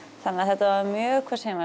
þannig að þetta var mjög